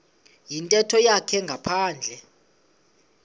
yintetho yakhe ngaphandle